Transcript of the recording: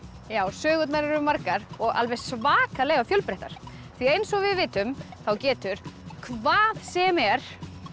sögurnar eru margar og alveg svakalega fjölbreyttar því eins og við vitum þá getur hvað sem er